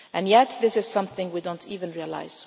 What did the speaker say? do. And yet this is something that we do not even realise.